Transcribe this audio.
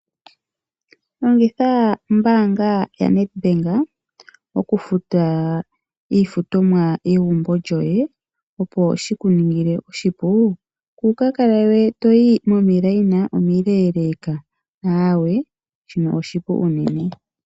Longitha ombaanga yaNedbank, okufuta iifutomwa yegumbo lyoye, opo shikuningile oshipu, kuukakale we to yi momikweyo omileeleka. Shino oshili omukalo omupu unene.